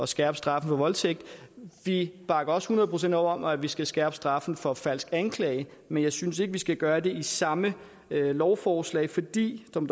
skærpe straffen for voldtægt vi bakker også hundrede procent op om at vi skal skærpe straffen for falsk anklage men jeg synes ikke vi skal gøre det i samme lovforslag fordi som